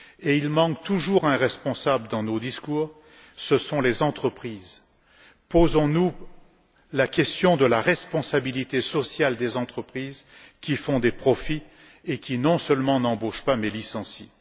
Il manque toujours un responsable dans nos discours, à savoir, les entreprises. Posons nous la question de la responsabilité sociale des entreprises, qui font des profits et qui, non seulement, n'embauchent pas, mais licencient.